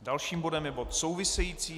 Dalším bodem je bod související.